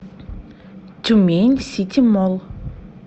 тюмень сити молл